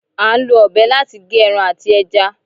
À ń lọ ọ̀bẹ láti gé ẹran àti ẹja